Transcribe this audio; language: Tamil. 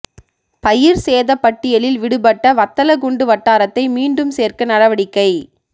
பயிா் சேதப் பட்டியலில் விடுப்பட்ட வத்தலகுண்டு வட்டாரத்தை மீண்டும் சோ்க்க நடவடிக்கை